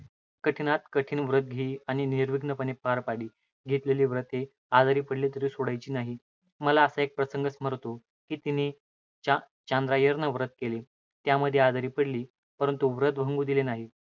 कठीणात कठीण व्रत घेई आणि निर्विघ्नपणे पार पाडी. घेतलेली व्रत आजारी पडली तरी सोडायची नाही. मला असा एक प्रसंग स्मरती, की तिन चांद्रायण व्रत केले. त्यामध्ये आजारी पडली. परंतु व्रत भंगू दिल नाही.